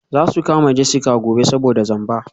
Za su kama Jessica gobe saboda zamba.